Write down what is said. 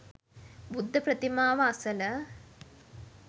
බුද්ධ ප්‍රතිමාව අසල